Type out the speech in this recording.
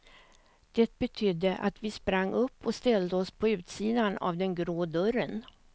Det betydde att vi sprang upp och ställde oss på utsidan av den grå dörren.